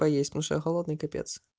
поесть потому-что я голодный капец